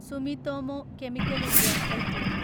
Sumitomo chemical India LTD